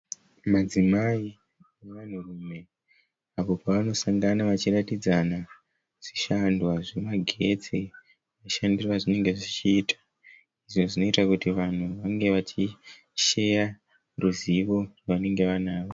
Madzimai nevanhu rume apo pavanosangana vachiratidzana zvishandwa zvemagetsi mushandiro a zvinenge zvichiita. Izvi zvinoita kuti vanhu vange vachisheya ruzivo rwavanenge vainaro.